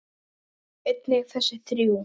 og einnig þessi þrjú